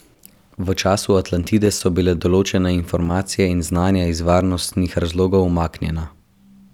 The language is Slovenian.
V času Atlantide so bile določene informacije in znanja iz varnostnih razlogov umaknjena.